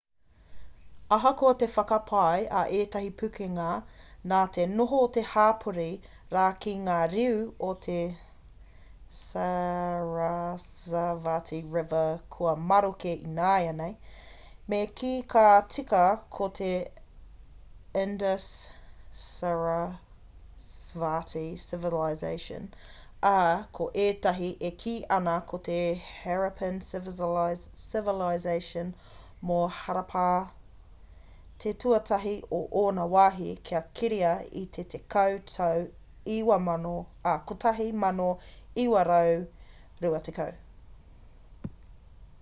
ahakoa te whakapae a ētahi pukenga nā te noho o te hapori rā ki ngā riu o te sarasvati river kua maroke ināianei me kī ka tika ko te indus-sarasvati civilization ā ko ētahi e kī ana ko te harappan civilization mō harappa te tuatahi o ōna wāhi kia keria i te tekau tau 1920